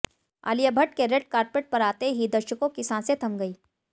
आलिया भट्ट के red carpet पर आते ही दर्शकों की सांसे थम गई